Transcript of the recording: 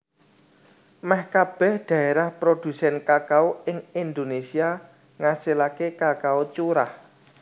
Mèh kabèh dhaérah prodhusèn kakao ing Indonésia ngasilaké kakao curah